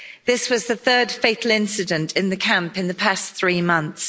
This was the third fatal incident in the camp in the past three months.